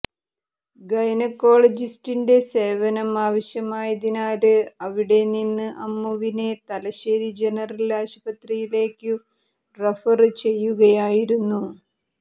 ഗൈനക്കോളജിസ്റ്റിന്റെ സേവനം ആവശ്യമായതിനാല് അവിടെ നിന്ന് അമ്മുവിനെ തലശ്ശേരി ജനറല് ആശുപത്രിയിലേക്കു റഫര് ചെയ്യുകയായിരുന്നു